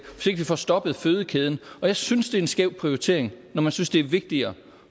vi får stoppet fødekæden jeg synes det er en skæv prioritering når man synes det er vigtigere